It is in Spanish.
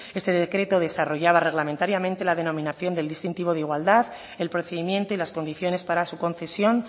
este decreto desarrollaba reglamentariamente la denominación del distintivo de igualdad el procedimiento y las condiciones para su concesión